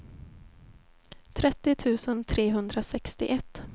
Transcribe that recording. trettio tusen trehundrasextioett